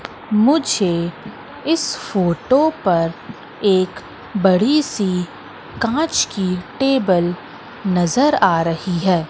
मुझे इस फोटो पर एक बड़ी सी कांच की टेबल नजर आ रही है।